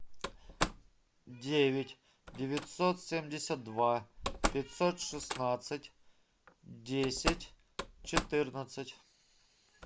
девять девятьсот семьдесят два пятьсот шестнадцать десять четырнадцать